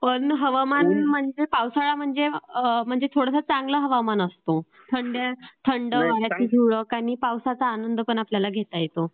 पण पावसाळा म्हणजे थोडंसं चांगलं हवामान असतो. थंड वाऱ्याची झुळूक आणि पावसाचा आनंद पण आपल्याला घेता येतो.